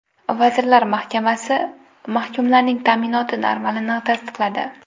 Vazirlar Mahkamasi mahkumlarning ta’minoti normalarini tasdiqladi.